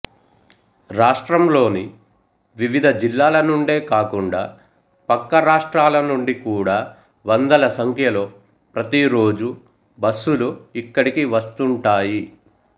రాష్ట్రంలోని వివిధ జిల్లాల నుండే కాకుండా పక్క రాష్ట్రాల నుండి కూడా వందల సంఖ్యలో ప్రతిరోజూ బస్సులు ఇక్కడికి వస్తుంటాయి